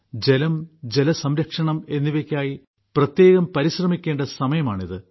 ജലം ജലസംരക്ഷണം എന്നിവയ്ക്കായി പ്രത്യേകം പരിശ്രമിക്കേണ്ട സമയമാണിത്